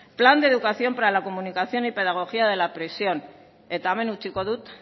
plan de educación para la comunicación y pedagogía de la prisión eta hemen utziko dut